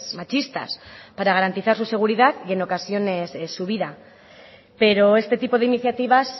machistas para garantizar su seguridad y en ocasiones su vida pero este tipo de iniciativas